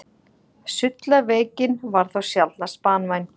sullaveikin var þó sjaldnast banvæn